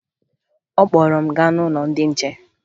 Ọ kpọrọ m gaa n'ụlọ ndị che